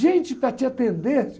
Gente para te atender.